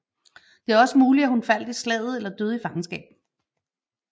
Det er også muligt at hun faldt i slaget eller døde i fangenskab